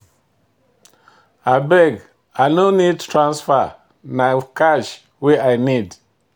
Abeg, I no need transfer, na cash wey I need.